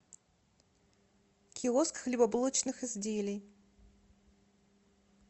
киоск хлебобулочных изделий